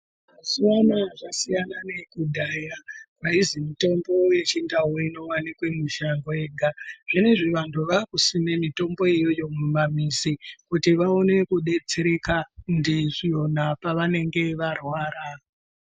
Mazuwa anaya zvasiyana neekudhaya aizwi mitombo yechindau inowanikwa mumashango ega zvinezvi vantu vaakusima mitombo iyoyo mumamizi kuti vaone kudetsereka ndizvona pavanenge varwara.